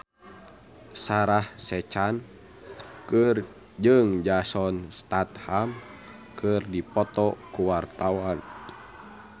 Sarah Sechan jeung Jason Statham keur dipoto ku wartawan